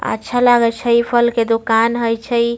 अच्छा लागे छै इ फल के दोकान हेय छै।